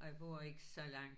og jeg bor ikke så langt